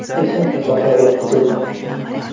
esa kasalxonaga yotqizildi.